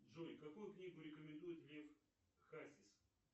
джой какую книгу рекомендует лев хасис